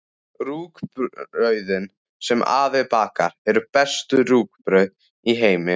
Rúgbrauðin, sem afi bakar, eru bestu rúgbrauð í heimi.